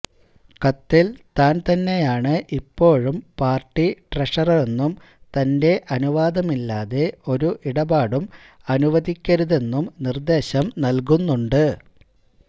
കത്തില് താന് തന്നെയാണ് ഇപ്പോഴും പാര്ട്ടി ട്രഷററെന്നും തന്റെ അനുവാദമില്ലാതെ ഒരു ഇടപാടും അനുവദിക്കരുതെന്നും നിര്ദ്ദേശം നല്കുന്നുണ്ട്